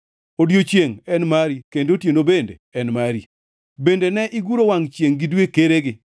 Odiechiengʼ en mari, kendo otieno bende mari, bende ne iguro wangʼ chiengʼ gi dwe keregi.